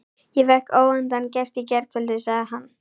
Ég fékk óvæntan gest í gærkvöldi, sagði hann.